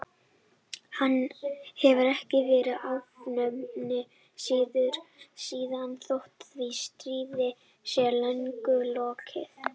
Hann hefur ekki verið afnuminn síðan þótt því stríði sé löngu lokið.